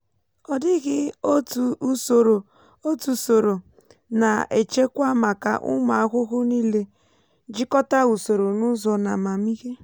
ọ dịghị otu usoro otu usoro na-achekwa maka umu ahuhu niile; jikọta usoro n'ụzọ n'amamihe.